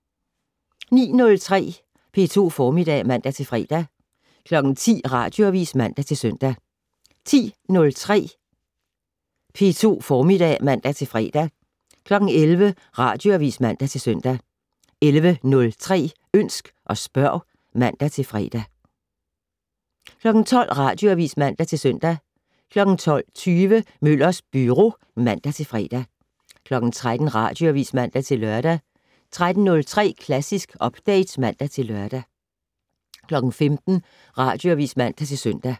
09:03: P2 Formiddag (man-fre) 10:00: Radioavis (man-søn) 10:03: P2 Formiddag (man-fre) 11:00: Radioavis (man-søn) 11:03: Ønsk og spørg (man-fre) 12:00: Radioavis (man-søn) 12:20: Møllers Byro (man-fre) 13:00: Radioavis (man-lør) 13:03: Klassisk Update (man-lør) 15:00: Radioavis (man-søn)